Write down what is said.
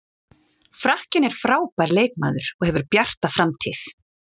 Frakkinn er frábær leikmaður og hefur bjarta framtíð.